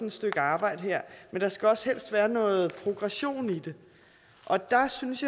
et stykke arbejde her men der skal også helst være noget progression i det og der synes